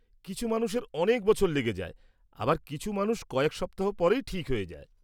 -কিছু মানুষের অনেক বছর লেগে যায়, আবার কিছু মানুষ কয়েক সপ্তাহ পরেই ঠিক হয়ে যায়।